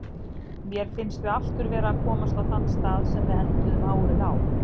Mér finnst við aftur vera að komast á þann stað sem við enduðum árið á.